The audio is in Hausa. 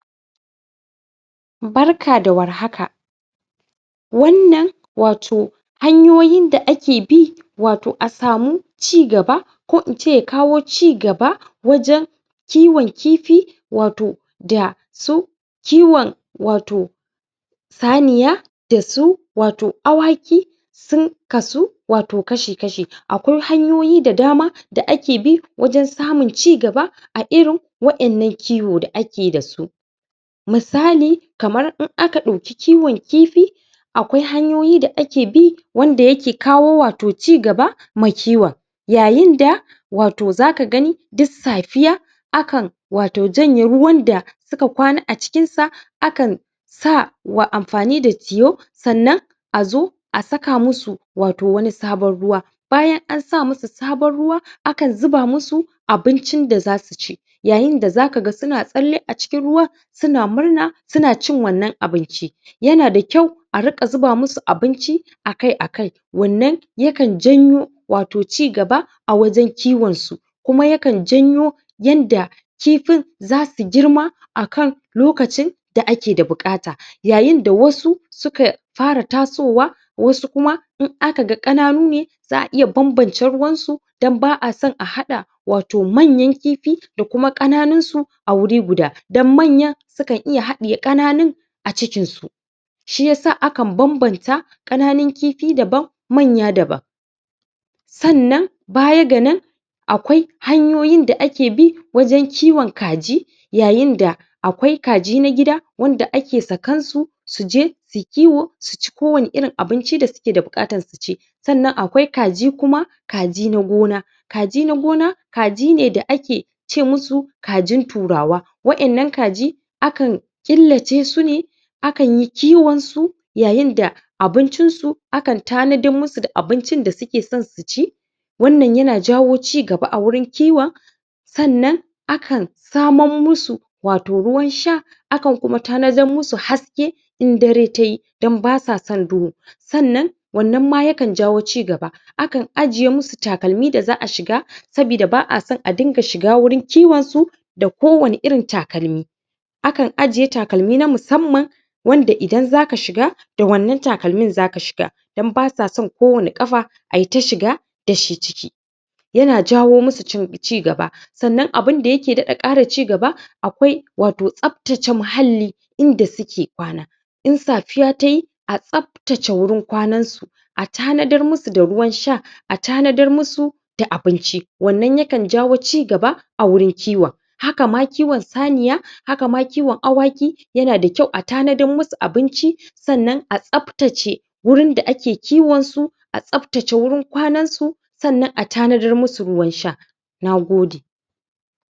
Barka da warhaka wannan wato hanyoyin da ake bi wato a samu cigaba ko in ce kawo cigaba wajen kiwon kifi wato da su kiwon wato saniya da su wato awaki sun kasu wato kashi-kashi akwai hanyoyi da dama da ake bi wajen samun cigaba a irin wa'innan kiwo da ake dasu misali kamar in aka ɗauki kiwon kifi akwai hanyoyi da ake bi wanda yake kawo wato cigaba ma kiwon yayinda wato zaka gani duk safiya akan wato janye ruwan da suka kwana a cikinsa akan sa wa amfani da tiyo sannan azo a saka musu wato wani sabon ruwa bayan an sa musu sabon ruwa akan zuba musu abincin da za su ci yayinda zaka ga suna tsalle a cikin ruwan suna murna suna cin wannan abinci yana da kyau a riƙa zuba musu abinci akai-akai wannan yakan janyo wato cigaba a wajen kiwonsu kuma yakan janyo yanda kifin zasu girma akan lokacin da ake da buƙata yayinda wasu suka fara tasowa wasu kuma in aka ga ƙananu ne za a iya banbance ruwansu dan ba a son a haɗa wato manyan kifi da kuma ƙananunsu a wuri guda dan manyan sukan iya haɗiye ƙananun a cikinsu shiyasa akan banbanta ƙananun kifi daban manya daban sannan baya ga nan akwai hanyoyin da ake bi wajen kiwon kaji yayinda akwai kaji na gida wanda ake sakansu su je suyi kiwo su ci kowani irin abinci da suke da buƙata su ci sannan akwai kaji kuma kaji na gona kaji na gona kaji ne da ake ce musu kajin turawa wa'innan kaji akan ƙillacesu ne akan yi kiwonsu yayinda abincinsu akan tanadan musu da abincin da suke son su ci wannan yana jawo cigaba a wurin kiwon sannan akan saman musu wato ruwan sha akan kuma tanadan musu haske in dare ta yi dan basa san duhu sannan wannan ma yakan jawo cigaba akan ajiye musu takalmi da za a shiga sabida ba a san a dinga shiga wurin kiwonsu da kowani irin takalmi akan ajiye takalmi na musamman wanda idan zaka shiga da wannan takalmin zaka shiga dan basa san kowani ƙafa ayita shiga da shi ciki yana jawo musu cigaba sannan abinda yake ƙara cigaba akwai wato tsaftace muhalli inda suke kwana in safiya ta yi a tsaftace wurin kwanansu a tanadar musu da ruwan sha a tanadar musu da abinci wannan yakan jawo cigaba a wurin kiwon hakama kiwon saniya hakama kiwon awaki yana da kyau a tanadar musu abinci sannan a tsaftace wurin da ake kiwonsu a tsaftace wuin kwanansu sannan a tanadar musu ruwan sha na gode.